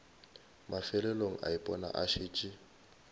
mafelelong a ipona a šetše